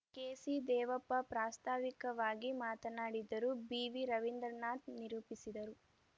KC Devappa ಪ್ರಾಸ್ತಾವಿಕವಾಗಿ ಮಾತನಾಡಿದರು BV Ravindranath ನಿರೂಪಿಸಿದರು